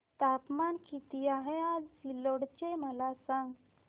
तापमान किती आहे आज सिल्लोड चे मला सांगा